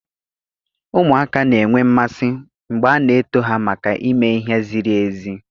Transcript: Ụmụaka na-enwe mmasị mgbe a na-eto ha maka ime ihe ziri ezi